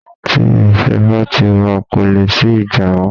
Tí ìfẹ́ bá ti wa, ko leè sí ìjà mọ́